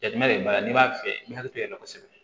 Jateminɛ de b'a la n'i b'a fɛ i bɛ hakili tigɛ kosɛbɛ